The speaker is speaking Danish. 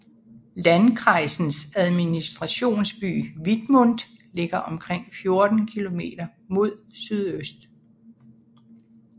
Landkreisens administrationsby Wittmund ligger omkring 14 kilometer mod sydøst